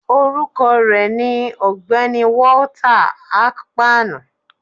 Orukọ rẹ ni Ọgbẹni Walter Akpani